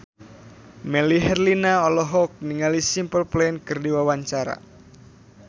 Melly Herlina olohok ningali Simple Plan keur diwawancara